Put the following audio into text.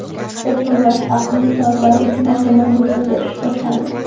Apple Watch aqlli soatlari uchun oldindan buyurtma berish boshlandi.